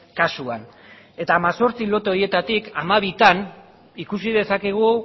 kasuan eta hemezortzi lote horietatik hamabitan ikusi dezakegu